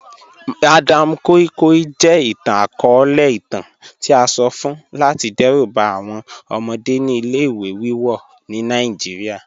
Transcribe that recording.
Madam koi koi jẹ itan-akọọlẹ itan ti a sọ fun lati dẹruba awọn ọmọde ni ile-iwe wiwọ ni Nigeria